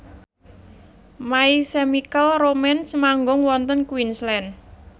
My Chemical Romance manggung wonten Queensland